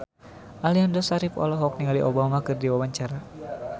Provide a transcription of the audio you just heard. Aliando Syarif olohok ningali Obama keur diwawancara